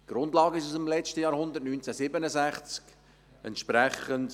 Die Grundlagen sind aus dem letzten Jahrhundert, sie sind von 1967.